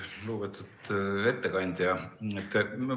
Lugupeetud ettekandja!